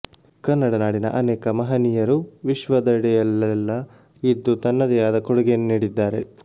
ಕನ್ನಡ ನಾಡಿನ ಅನೇಕ ಮಹಾನೀಯರು ವಿಶ್ವದೆಡೆಯಲ್ಲೆಲ್ಲ ಇದ್ದು ತನ್ನದೇ ಆದ ಕೊಡುಗೆಯನ್ನು ನೀಡಿದ್ದಾರೆ